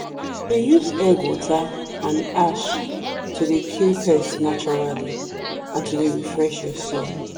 dey use egg water and ash to dey kill pest naturally and to dey refresh your soil.